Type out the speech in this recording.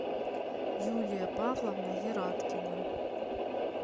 юлия павловна ераткина